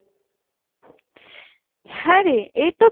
হ্যাঁরে এ তো